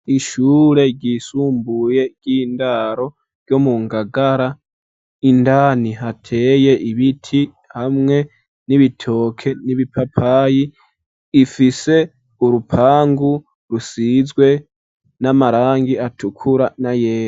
Ishure ryisumbuye ry'indaro ryo mu ngagara indani hateye ibiti hamwe n'ibitoke n'ibipapayi, ifise urupangu rusizwe n'amarangi atukura na yera.